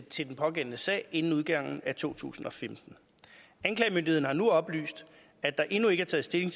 til den pågældende sag inden udgangen af to tusind og femten anklagemyndigheden har nu oplyst at der endnu ikke er taget stilling